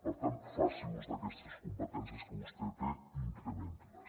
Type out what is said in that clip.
per tant faci ús d’aquestes competències que vostè té i incrementi les